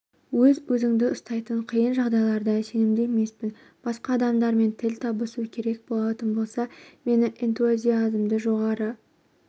өз-өзіңді ұстайтын қиын жағдайларда сенімді емеспін басқа адамдармен тіл табысу керек болатын болса мені энтузиазмы жоғары